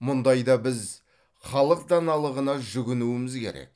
мұндайда біз халық даналығына жүгінуіміз керек